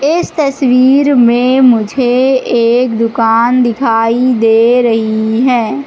इस तस्वीर में मुझे एक दुकान दिखाई दे रही है।